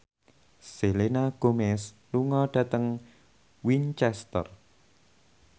Selena Gomez lunga dhateng Winchester